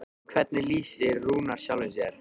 En hvernig lýsir Rúnar sjálfum sér?